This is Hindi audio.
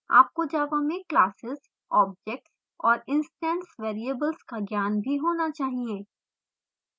आपको java में classes objects और instance variables का ज्ञान भी होना चाहिए